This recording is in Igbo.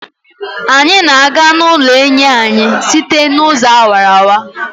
Anyị na-aga n'ụlọ enyi anyị site n'ụzọ awara awara.